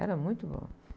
Era muito bom.